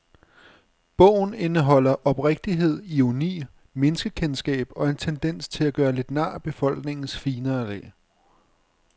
Bogen indeholder oprigtighed, ironi, menneskekendskab og en tendens til at gøre lidt nar af befolkningens finere lag.